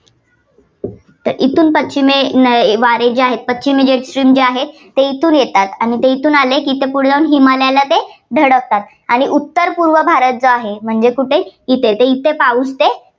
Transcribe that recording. तर इथून पश्चिमेला वा~वारे जे आहे, पश्चिमी आहे, ते येथून येतात. ते येथून आले की पुढं जाऊन हिमालयला ते धडकतात आणि उत्तर पूर्व भारत जो आहे म्हणजे कुठे इथे. तर इथे पाऊस ते